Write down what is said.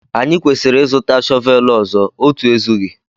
Anyị kwesịrị ịzụta shọvel ọzọ, otu ezughị